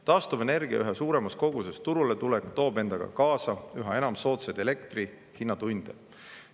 Taastuvenergia üha suuremas koguses turule tulek toob endaga kaasa üha enam soodsa elektrihinna tunde.